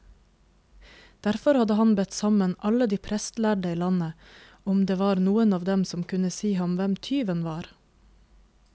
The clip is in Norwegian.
Derfor hadde han bedt sammen alle de prestlærde i landet, om det var noen av dem som kunne si ham hvem tyven var.